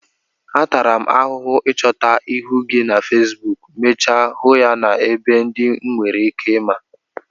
Atara m ahụhụ ịchọta ihu gị na feesbuk, mechaa m hụ ya n'ebe ndị m nwereike ịma